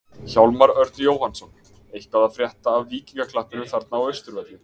Hjálmar Örn Jóhannsson: Eitthvað að frétta af Víkingaklappinu þarna á Austurvelli?